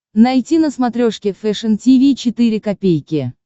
найти на смотрешке фэшн ти ви четыре ка